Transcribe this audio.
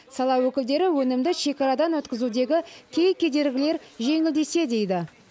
сала өкілдері өнімді шекарадан өткізудегі кей кедергілер жеңілдесе дейді